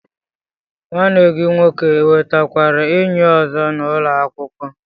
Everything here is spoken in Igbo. Nwanne gi nwoke enwetakwuru enyi ozo n'ulo akwukwo